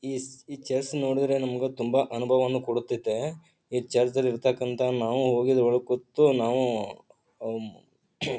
is chess ನೋಡಿದ್ರೆ ನಮ್ಮಗ್ ತುಂಬಾ ಅನುಭವ ಕೊಡುತ್ತತೆ ಈ ಚೆಸ್‌ ದಲ್ಲಿ ಇರತ್ತಕಂತ ನಾವು ಹೋಗಿ ಒಳಕುತ್ತು ನಾವು ಅಂ